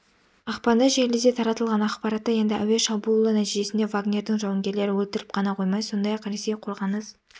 ақпанда желіде таратылған ақпаратта енді әуе шабуылы нәтижесінде вагнердің жауынгерлері өлтіріліп қана қоймай сондай-ақ ресей қорғаныс